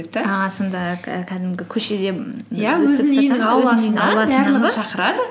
ааа сонда кә кәдімгі көшеде шақырады